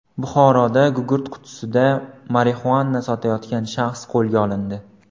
Buxoroda gugurt qutisida marixuana sotayotgan shaxs qo‘lga olindi.